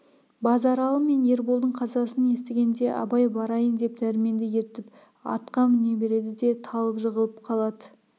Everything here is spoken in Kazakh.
базаралы мен ерболдың қазасын естігенде абай барайын деп дәрменді ертіп атқа міне береді де талып жығылып қалады